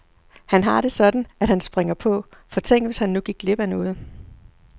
Han har det sådan, at han springer på, for tænk hvis han nu gik glip af noget.